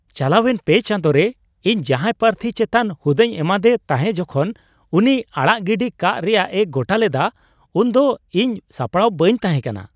ᱪᱟᱞᱟᱣᱮᱱ ᱯᱮ ᱪᱟᱸᱫᱳ ᱨᱮ ᱤᱧ ᱡᱟᱦᱟᱸᱭ ᱯᱟᱨᱛᱷᱤ ᱪᱮᱛᱟᱱ ᱦᱩᱫᱟᱹᱧ ᱮᱢᱟᱫᱮ ᱛᱟᱦᱮᱸ ᱡᱚᱠᱷᱚᱱ ᱩᱱᱤ ᱟᱲᱟᱜ ᱜᱤᱰᱤ ᱠᱟᱜ ᱨᱮᱭᱟᱜ ᱮ ᱜᱚᱴᱟ ᱞᱮᱫᱟ, ᱩᱱᱫᱚ ᱤᱧ ᱥᱟᱯᱲᱟᱣ ᱵᱟᱹᱧ ᱛᱟᱦᱮᱸ ᱠᱟᱱᱟ ᱾